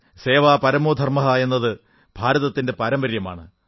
സേവാ പരമോ ധർമ്മഃ എന്നത് ഭാരതത്തിന്റെ പാരമ്പര്യമാണ്